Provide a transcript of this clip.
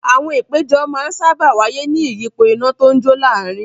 Àwọn ìpéjọ máa ń sáábà wáyé ní ìyípo iná tó ń jó láàárin.